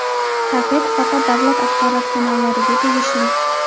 Taqiq faqat davlat axborot kanallariga tegishli.